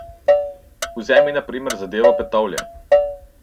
Vzemi na primer zadevo Petovlje.